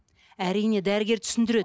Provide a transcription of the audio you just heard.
әрине дәрігер түсіндіреді